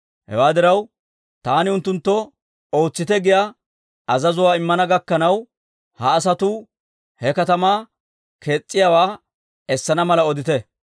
Hewaa diraw, taani unttunttoo ootsite giyaa azazuwaa immana gakkanaw, ha asatuu he katamaa kees's'iyaawaa essana mala odite.